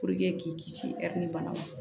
k'i kisi ɛri ni bana ma